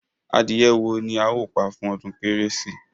Adìyẹ wo ni a ó pa fún ọdún kérésì?